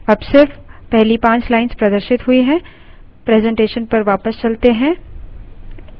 presentation पर वापस चलते हैं